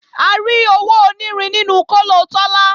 A rí owó onírin nínú kóló Tọ́lá